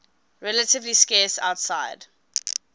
relatively scarce outside